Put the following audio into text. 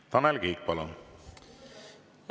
Palun, Tanel Kiik!